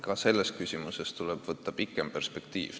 Ka selles küsimuses tuleb silmas pidada kaugemat perspektiivi.